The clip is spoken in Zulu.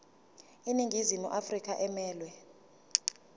iningizimu afrika emelwe